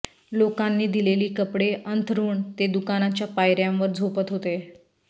लोकांनी दिलेली कपडे अंथरुण ते दुकानाच्या पायऱ्यांवर झोपत होते